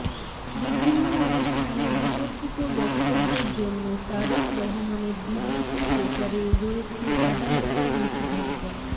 বিভিন্ন অনুষ্ঠানে বিতর্কিত বক্তব্যের জন্য তারেক রহমানের বিবৃতি প্রচারে রয়েছে আদালতের নিষেধাজ্ঞা